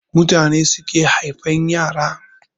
Mutane suke haifan yara